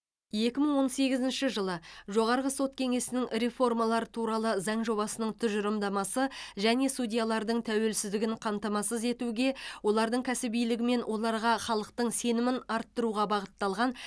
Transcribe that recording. екі мың он сегізінші жылы жоғарғы сот кеңесінің реформалар туралы заң жобасының тұжырымдамасы және судьялардың тәуелсіздігін қамтамасыз етуге олардың кәсібилігі мен оларға халықтың сенімін арттыруға бағытталған